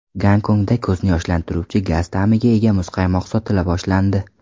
Gonkongda ko‘zni yoshlantiruvchi gaz ta’miga ega muzqaymoq sotila boshlandi.